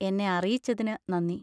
എന്നെ അറിയിച്ചതിനു നന്ദി.